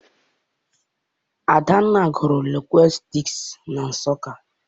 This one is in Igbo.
Adanna gụrụ lingwistiks na Nsụka.